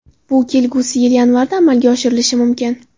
Bu kelgusi yil yanvarida amalga oshirilishi mumkin.